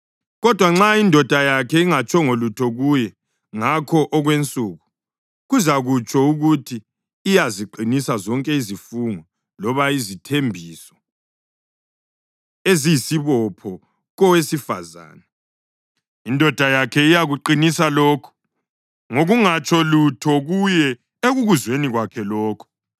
Kodwa nxa indoda yakhe ingatshongo lutho kuye ngakho okwensuku, kuzakutsho ukuthi iyaziqinisa zonke izifungo loba izithembiso eziyisibopho kowesifazane. Indoda yakhe iyakuqinisa lokho ngokungatsho lutho kuye ekukuzweni kwakhe lokho.